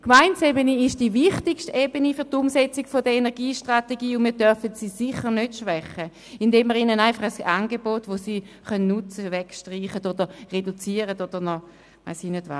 Die Gemeindeebene ist die wichtigste Ebene für die Umsetzung der Energiestrategie, und wir dürfen sie sicher nicht schwächen, indem wir den Gemeinden ein Angebot, das sie nutzen können, streichen, reduzieren oder was auch immer.